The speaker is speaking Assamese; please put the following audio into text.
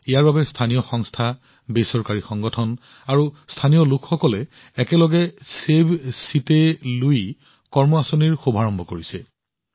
ইয়াৰ বাবে স্থানীয় সংস্থা বেচৰকাৰী সংগঠন আৰু স্থানীয় লোকসকলে একেলগে চেভ চিত্তে লুই কাৰ্য পৰিকল্পনাও প্ৰণয়ন কৰিছে